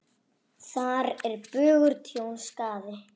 Þar er bugur tjón, skaði.